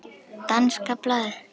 Danska blaðið